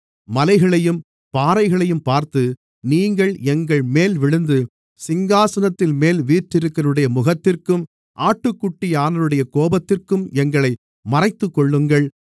மலைகளையும் பாறைகளையும் பார்த்து நீங்கள் எங்கள்மேல் விழுந்து சிங்காசனத்தின்மேல் வீற்றிருக்கிறவருடைய முகத்திற்கும் ஆட்டுக்குட்டியானவருடைய கோபத்திற்கும் எங்களை மறைத்துக்கொள்ளுங்கள்